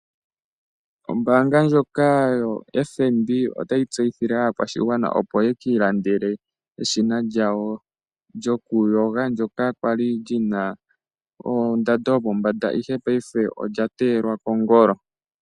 Ombaanga ndjoka yo FNB otayi tseyithile aakwashigwana opo yekiilandele eshina lyawo lyokuyoga ndoka kwali lyina ondando yopombanda ihe paife olyateyelwa pongolo.